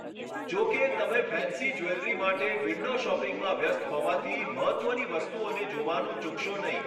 જો કે, તમે ફેન્સી જ્વેલરી માટે વિન્ડો શોપિંગમાં વ્યસ્ત હોવાથી મહત્ત્વની વસ્તુઓને જોવાનું ચૂકશો નહીં.